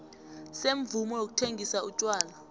semvumo yokuthengisa utjwala